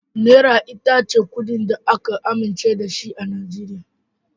Naira ita ce kuɗin da aka amince da shi a Najeriya.